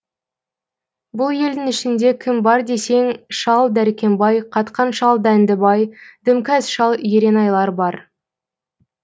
бұл елдің ішінде кім бар десең шал дәркембай қатқан шал дәндібай дімкәс шал еренайлар бар